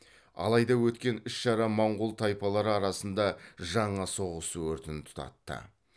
алайда өткен іс шара монғол тайпалары арасында жаңа соғыс өртін тұтатты